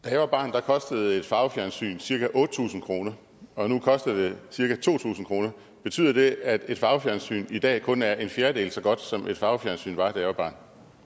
da jeg var barn kostede et farvefjernsyn cirka otte tusind kroner og nu koster det cirka to tusind kroner betyder det at et farvefjernsyn i dag kun er en fjerdedel så godt som et farvefjernsyn var da jeg var barn